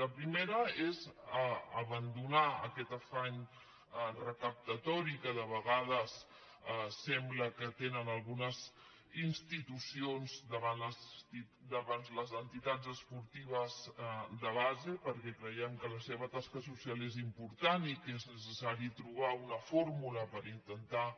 la primera és abandonar aquest afany recaptatori que de vegades sembla que tenen algunes institucions davant les entitats esportives de base perquè creiem que la seva tasca social és important i que és necessari trobar una fórmula per intentar